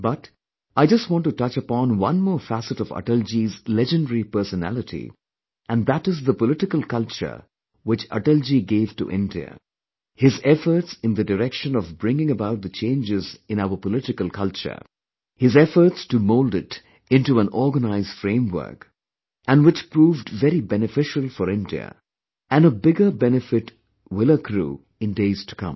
But, I just want to touch upon one more facet of Atalji's legendary personality and that is the political culture which Atalji gave to India, his efforts in the direction of bringing about the changes in our political culture, his efforts to mould it into an organized framework and which proved very beneficial for India and a bigger benefit will accrue in days to come